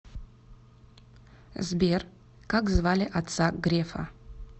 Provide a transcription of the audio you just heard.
сбер как звали отца грефа